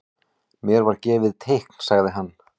Mér var gefið teikn sagði hann.